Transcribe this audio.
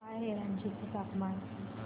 काय आहे रांची चे तापमान